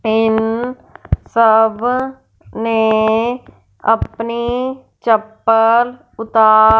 इन सब ने अपनी चप्पल उता--